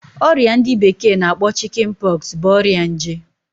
Oria ndi bekee na akpo Chickenpox bụ ọrịa nje